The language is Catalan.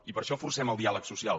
i per això forcem el diàleg social